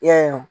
I y'a ye